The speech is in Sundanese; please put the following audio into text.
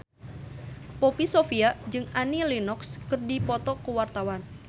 Poppy Sovia jeung Annie Lenox keur dipoto ku wartawan